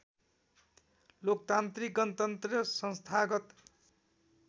लोकतान्त्रिक गणतन्त्र संस्थागत